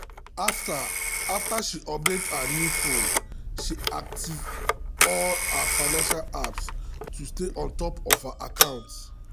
after after she update her new phone she activate all her financial apps um to stay on top of her um accounts.